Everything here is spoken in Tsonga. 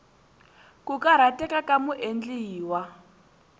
ku karhateka ka muendli wa